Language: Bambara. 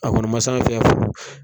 A kɔni ma se an fɛ yan fɔlɔ.